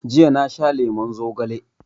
Jiya na sha lemon zogale